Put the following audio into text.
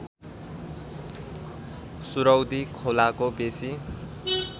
सुरौदी खोलाको बेसी